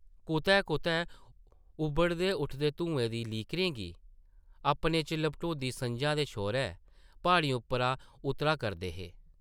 कुतै-कुतै उबड़े उठदे धुऐं दी लीकरें गी अपने च लपेटदी सʼञां दे छौरे प्हाड़ियें उप्पर उतरा करदे हे ।